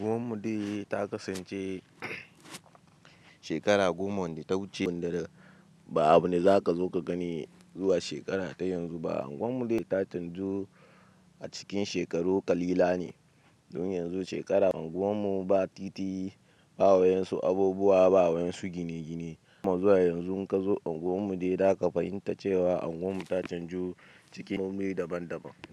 Anguwan mu dai ta kasance shekara goma wanda ta wuce, wanda ba abu ne za ka zo ka gani zuwa shekara ta yanzu ba. Anguwan mu dai da canju a cikin shekaru ƙalilan ne don yanzu shekara, unguwan mu ba titi, ba wayan su abubuwa, ba wayan su gine-gine. Zuwa yanzu in ka zo unguwan mu dai, za ka fahimta cewa unguwan mu ta canju cikin nau'i daban-daban.